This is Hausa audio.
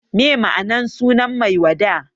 Me ma'anar sunan Maiwada?